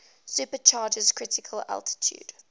supercharger's critical altitude